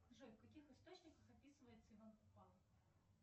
джой в каких источниках описывается иван купала